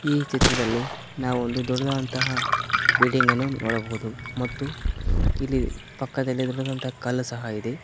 ಈ ಚಿತ್ರದಲ್ಲಿ ನಾವು ಒಂದು ದೊಡ್ಡದಾದಂತಹ ಬಿಲ್ಡಿಂಗ್ ಅನ್ನು ನೋಡಬಹುದು ಮತ್ತು ಇಲ್ಲಿ ಪಕ್ಕದಲ್ಲಿ ದೊಡ್ಡದಾದಂತಹ ಕಲ್ ಸಹ ಇದೆ.